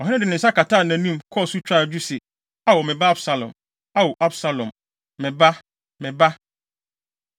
Ɔhene de ne nsa kataa nʼanim, kɔɔ so twaa adwo se, “Ao, me ba Absalom! Ao, Absalom, me ba, me ba!”